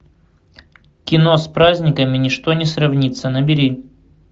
кино с праздниками ничто не сравнится набери